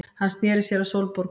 Hann sneri sér að Sólborgu.